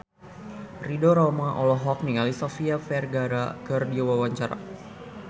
Ridho Roma olohok ningali Sofia Vergara keur diwawancara